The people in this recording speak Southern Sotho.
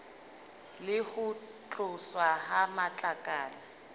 le ho tloswa ha matlakala